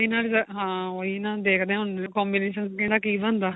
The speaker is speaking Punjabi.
ਬਿਨ੍ਹਾਂ result ਹਾਂ ਓਹੀ ਨਾ ਦੇਖਦੇ ਆ ਹੁਣ combination ਬਿਨ੍ਹਾਂ ਕੀ ਬਣਦਾ